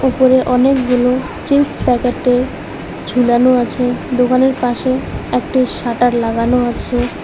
উপরে অনেকগুলো চিপস প্যাকেটে ঝোলানো আছে দোকানের পাশে একটি শাটার লাগানো আছে।